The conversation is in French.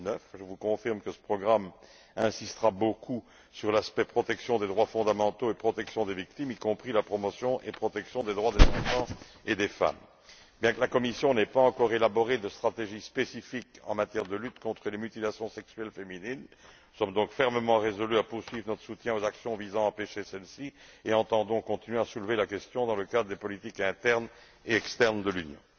2009. Je vous confirme que ce programme insistera beaucoup sur l'aspect relatif à la protection des droits fondamentaux et des victimes, y compris la promotion et la protection des droits des enfants et des femmes. Bien que la Commission n'ait pas encore élaboré de stratégie spécifique en matière de lutte contre les mutilations sexuelles féminines, nous sommes fermement résolus à poursuivre notre soutien aux actions visant à empêcher celles ci et entendons continuer à soulever cette question dans le cadre des politiques internes et externes de l'Union.